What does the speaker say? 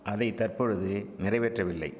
அதை தற்பொழுது நிறைவேற்றவில்லை